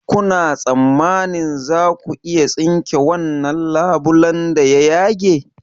Kuna tsammanin za ku iya tsinke wannan labulen da ya yage?